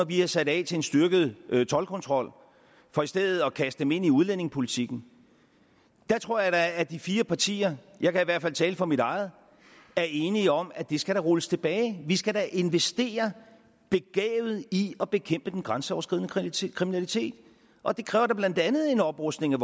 vi havde sat af til en styrket toldkontrol for i stedet at kaste dem ind i udlændingepolitikken der tror jeg at de fire partier jeg kan i hvert fald tale for mit eget er enige om at det da skal rulles tilbage vi skal da investere begavet i at bekæmpe den grænseoverskridende kriminalitet og det kræver blandt andet en oprustning af